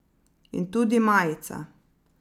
In tudi majica.